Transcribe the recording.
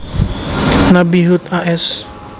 Nabi Hud a s